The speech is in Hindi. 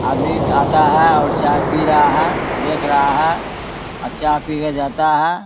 आदमी आता है और चाय पी रहा है देख रहा है अ चाय पी के जाता है।